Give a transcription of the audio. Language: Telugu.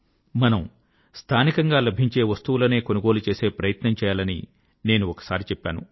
మనము స్థానికంగా లభించే వస్తువులనే కొనుగోలు చేసే ప్రయత్నం చేయాలని నేను ఒకసారి చెప్పాను